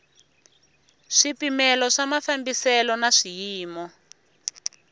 swipimelo swa mafambiselo na swiyimo